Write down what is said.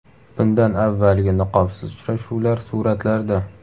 Bundan avvalgi niqobsiz uchrashuvlar suratlarda.